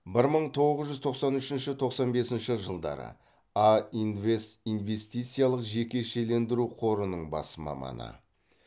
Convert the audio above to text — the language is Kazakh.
бір мың тоғыз жүз тоқсан үшінші тоқсан бесінші жылдары а инвест инвестициялық жекешелендіру қорының бас маманы